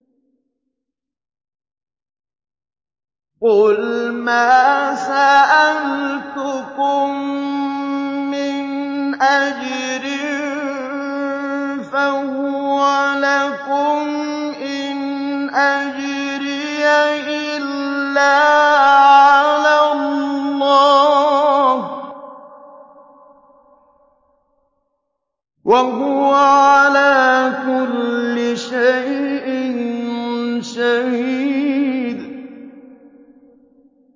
قُلْ مَا سَأَلْتُكُم مِّنْ أَجْرٍ فَهُوَ لَكُمْ ۖ إِنْ أَجْرِيَ إِلَّا عَلَى اللَّهِ ۖ وَهُوَ عَلَىٰ كُلِّ شَيْءٍ شَهِيدٌ